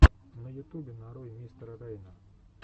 на ютубе нарой мистера рейна